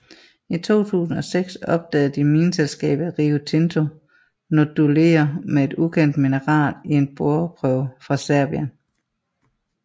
I 2006 opdagede mineselskabet Rio Tinto noduler med et ukendt mineral i en boreprøve fra Serbien